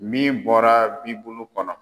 Min bɔra bibulu kɔnɔ.